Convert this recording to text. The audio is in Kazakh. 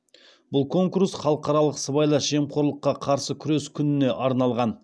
бұл конкурс халықаралық сыбайлас жемқорлыққа қарсы күрес күніне арналған